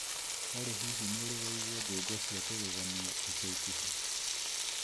Olly hihi nĩ ũrĩ waigua njũng'wa cia kũgegania ica ikuhĩ